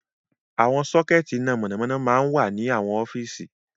Àwọn sockets iná mọ̀nàmọ́ná máa ń wà ní àwọn ọ́fíìsì.